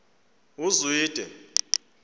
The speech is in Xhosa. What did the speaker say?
uzwide